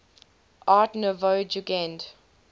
art nouveau jugend